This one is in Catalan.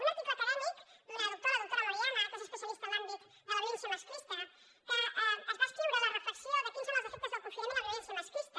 un article acadèmic d’una doctora la doctora moriana que és especialista en l’àmbit de la violència masclista que va escriure la reflexió de quins són els efectes del confinament amb la violència masclista